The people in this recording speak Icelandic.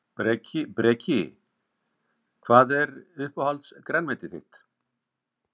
Breki: Hvað er uppáhalds grænmetið þitt?